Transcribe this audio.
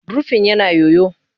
Rufin yana yoyo